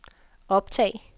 optag